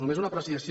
només una apreciació